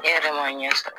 E yɛrɛ ma ɲɛ sɔrɔ